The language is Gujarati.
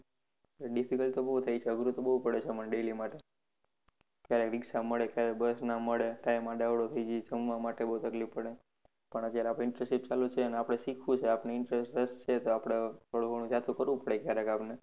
Difficult તો બહુ થાય છે અઘરું તો બહુ પડે છે મને daily માટે ક્યારે ricksha મળે ક્યારે bus ના મળે time આડાઅવલો થઇ જાય જમવા માટે બહુ તકલીફ પડે પણ અત્યારે આપણે internship ચાલુ છે ને આપણે શીખવું છે આપણે interest રસ છે તો થોડું ઘણું જતું કરવું પડે ક્યારેક આપણે